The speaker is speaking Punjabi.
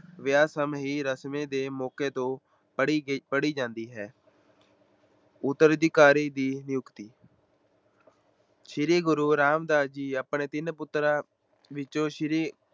ਵਿਆਹ ਸਮੇਂ ਦੀ ਰਸਮ ਦੇ ਮੌਕੇ ਤੇ ਪੜ੍ਹੀ ਕੇ ਪੜ੍ਹੀ ਜਾਂਦੀ ਹੈ ਉੱਤਰਾਧਿਕਾਰੀ ਦੀ ਨਿਯੁਕਤੀ ਸ੍ਰੀ ਗੁਰੂ ਰਾਮਦਾਸ ਜੀ ਆਪਣੇ ਤਿੰਨ ਪੁੱਤਰਾਂ ਵਿੱਚੋਂ ਸ੍ਰੀ